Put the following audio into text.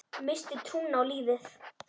Missti trúna á lífið.